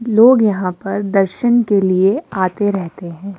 लोग यहां पर दर्शन के लिए आते रहते हैं।